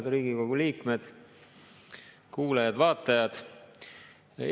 Head Riigikogu liikmed, kuulajad-vaatajad!